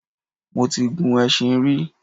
Mo ti gun ẹṣin rí